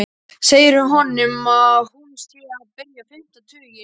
Segir honum að hún sé að byrja fimmta tuginn.